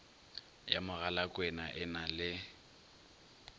ya mogalakwena e na le